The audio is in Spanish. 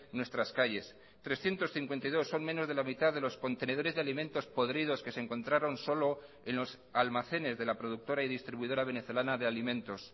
nuestras calles trescientos cincuenta y dos son menos de la mitad de los contenedores de alimentos podridos que se encontraron solo en los almacenes de la productora y distribuidora venezolana de alimentos